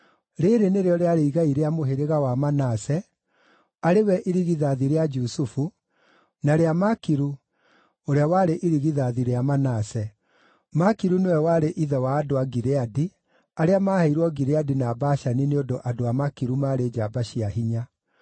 Rĩĩrĩ nĩrĩo rĩarĩ igai rĩa mũhĩrĩga wa Manase arĩ we irigithathi rĩa Jusufu, na rĩa Makiru, ũrĩa warĩ irigithathi rĩa Manase. Makiru nĩwe warĩ ithe wa andũ a Gileadi, arĩa maaheirwo Gileadi na Bashani nĩ ũndũ andũ a Makiru maarĩ njamba cia hinya.